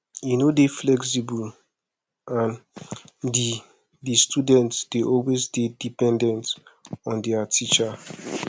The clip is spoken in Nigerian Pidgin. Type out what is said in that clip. e no dey flexible and di di students dey always dey dependent on their teacher